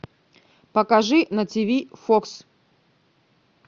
покажи на тв фокс